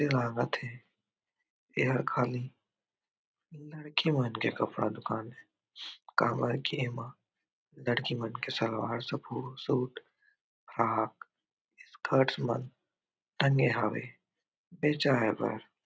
ए लागत हे एहर खाली लड़की मन के कपड़ा दुकान ए काबर कि एमा लड़की मन के सलवार सूट फ्राक स्कर्ट्स मन टंगे हावे बेचाए बर--